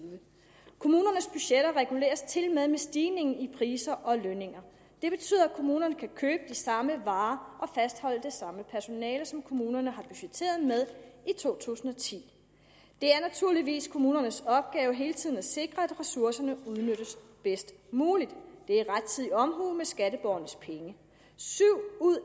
kommunernes budgetter reguleres tilmed med stigningen i priser og lønninger det betyder at kommunerne kan købe de samme varer og fastholde det samme personale som kommunerne har budgetteret med i to tusind og ti det er naturligvis kommunernes opgave hele tiden at sikre at ressourcerne udnyttes bedst muligt det er rettidig omhu med skatteborgernes penge syv ud